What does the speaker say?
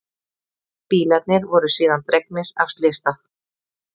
Bílarnir voru síðan dregnir af slysstað